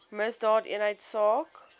misdaadeenheidsaak